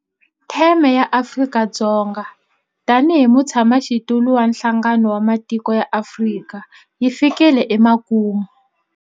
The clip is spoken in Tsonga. Theme ya Afrika-Dzonga tanihi mutshamaxitulu wa Nhlangano wa Matiko ya Afrika yi fikile emakumu.